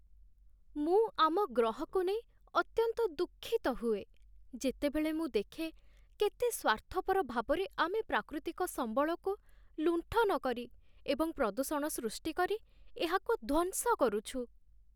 ମୁଁ ଆମ ଗ୍ରହକୁ ନେଇ ଅତ୍ୟନ୍ତ ଦୁଃଖିତ ହୁଏ, ଯେତେବେଳେ ମୁଁ ଦେଖେ କେତେ ସ୍ୱାର୍ଥପର ଭାବରେ ଆମେ ପ୍ରାକୃତିକ ସମ୍ବଳକୁ ଲୁଣ୍ଠନ କରି ଏବଂ ପ୍ରଦୂଷଣ ସୃଷ୍ଟି କରି ଏହାକୁ ଧ୍ୱଂସ କରୁଛୁ।